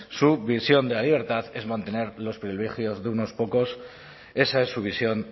su visión de la libertad es mantener los privilegios de unos pocos esa es su visión